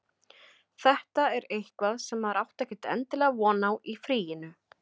Þetta er eitthvað sem maður átti ekkert endilega von á í fríinu.